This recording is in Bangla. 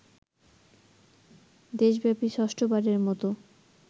দেশব্যাপী ষষ্ঠ বারের মত